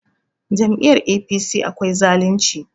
Jami'yar APC akwai zalunci